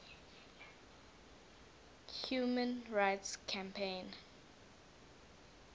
human rights campaign